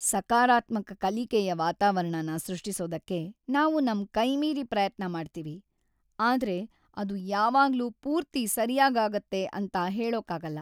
ಸಕಾರಾತ್ಮಕ ಕಲಿಕೆಯ ವಾತಾವರಣನ ಸೃಷ್ಟಿಸೋದಕ್ಕೆ ನಾವು ನಮ್ ಕೈಮೀರಿ ಪ್ರಯತ್ನ ಮಾಡ್ತೀವಿ, ಆದ್ರೆ ಅದು ಯಾವಾಗ್ಲೂ ಪೂರ್ತಿ ಸರ್ಯಾಗಾಗತ್ತೆ ಅಂತ ಹೇಳೋಕಾಗಲ್ಲ.